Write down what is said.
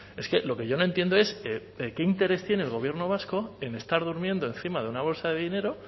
es que lo que yo no entiendo es qué interés tiene el gobierno vasco en estar durmiendo encima de una bolsa de dinero